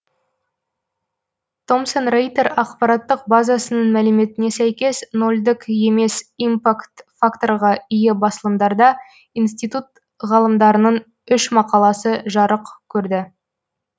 томсон рейтер ақпараттық базасының мәліметіне сәйкес нолдік емес импакт факторға ие басылымдарда институт ғалымдарының үш мақаласы жарық көрді